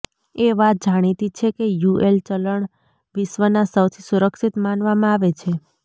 એ વાત જાણીતી છે કે યુએસ ચલણ વિશ્વના સૌથી સુરક્ષિત માનવામાં આવે છે